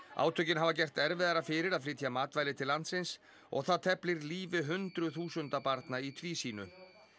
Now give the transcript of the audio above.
átökin hafa gert erfiðara fyrir að flytja matvæli til landsins og það teflir lífi hundruð þúsunda barna í tvísýnu